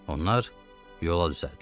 Onlar yola düzəldilər.